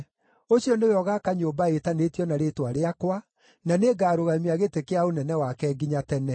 Ũcio nĩwe ũgaaka nyũmba ĩtanĩtio na Rĩĩtwa Rĩakwa, na nĩngarũgamia gĩtĩ kĩa ũnene wake nginya tene.